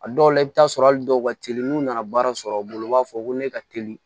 A dɔw la i bi t'a sɔrɔ hali dɔw ka teli n'u nana baara sɔrɔ u bolo u b'a fɔ ko ne ka teli